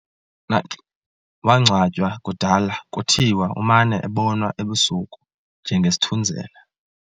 Nax wangcwatywa kudala kuthiwa umana ebonwa ebusuku njengesithunzela.